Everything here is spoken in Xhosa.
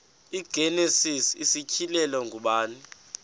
igenesis isityhilelo ngubani